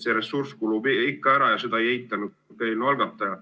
See ressurss kulub ikka ära ja seda ei eitanud ka eelnõu algataja.